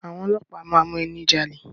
Àwọn ọlọ́pàá máa mú ẹni jalè.